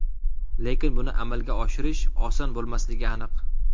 Lekin buni amalga oshirish oson bo‘lmasligi aniq.